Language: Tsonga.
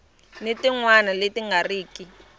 tin wana leti nga riki